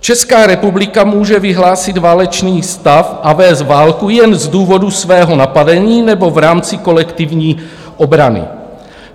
Česká republika může vyhlásit válečný stav a vést válku jen z důvodu svého napadení nebo v rámci kolektivní obrany.